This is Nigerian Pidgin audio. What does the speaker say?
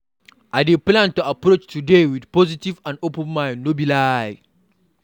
I dey plan to approach today with positivity and open mind, no be lie.